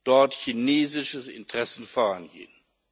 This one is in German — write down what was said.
dort chinesische Interessen vorangehen.